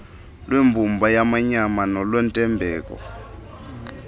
lwembumba yamanyama nolwentembeko